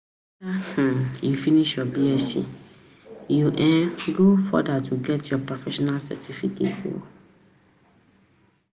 after um you finish your Bsc, you um go further to get professional certificate? um